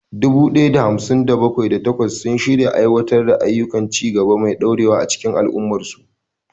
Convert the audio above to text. Dubu ɗaya da hamsin da bakwai, da takwas sun shirya aiwatar da ayyukan ci gaba mai dorewa a cikin al'ummarsu.